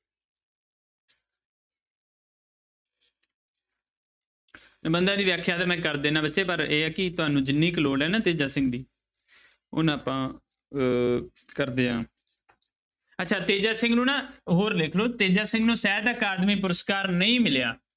ਨਿਬੰਧਾਂ ਦੀ ਵਿਆਖਿਆ ਤਾਂ ਮੈਂ ਕਰ ਦਿਨਾ ਬੱਚੇ ਪਰ ਇਹ ਆ ਕਿ ਤੁਹਾਨੂੰ ਜਿੰਨੀ ਕੁ ਲੋੜ ਹੈ ਨਾ ਤੇਜਾ ਸਿੰਘ ਦੀ ਓਨਾ ਆਪਾਂ ਅਹ ਕਰਦੇ ਹਾਂ ਅੱਛਾ ਤੇਜਾ ਸਿੰਘ ਨੂੰ ਨਾ ਹੋਰ ਲਿਖ ਲਓ ਤੇਜਾ ਸਿੰਘ ਨੂੰ ਸਾਹਿਤ ਅਕਾਦਮੀ ਪੁਰਸ਼ਕਾਰ ਨਹੀਂ ਮਿਲਿਆ।